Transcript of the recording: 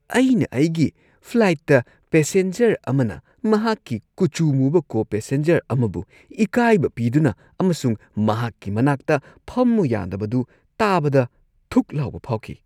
ꯑꯩꯅ ꯑꯩꯒꯤ ꯐ꯭ꯂꯥꯏꯠꯇ ꯄꯦꯁꯦꯟꯖꯔ ꯑꯃꯅ ꯃꯍꯥꯛꯀꯤ ꯀꯨꯆꯨ ꯃꯨꯕ ꯀꯣ-ꯄꯦꯁꯦꯟꯖꯔ ꯑꯃꯕꯨ ꯏꯀꯥꯏꯕ ꯄꯤꯗꯨꯅ ꯑꯃꯁꯨꯡ ꯃꯍꯥꯛꯀꯤ ꯃꯅꯥꯛꯇ ꯐꯝꯃꯨ ꯌꯥꯗꯕꯗꯨ ꯇꯥꯕꯗ ꯊꯨꯛ ꯂꯥꯎꯕ ꯐꯥꯎꯈꯤ꯫